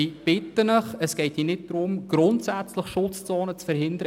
Schutzzonen sollen nicht grundsätzlich verhindert werden.